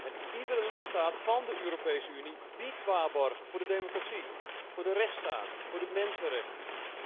En iedere lidstaat van de Europese Unie biedt waarborgen voor de democratie, voor de rechtsstaat, voor de mensenrechten.